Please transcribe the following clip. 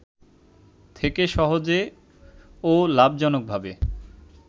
থেকে সহজে ও লাভজনকভাবে